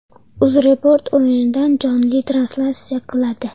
UzReport o‘yindan jonli translyatsiya qiladi.